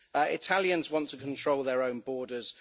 Italians want to control their own borders